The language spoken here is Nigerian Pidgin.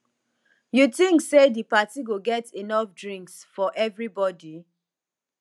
you think say di party go get enough drinks for everybody